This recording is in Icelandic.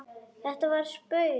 Þetta var spaug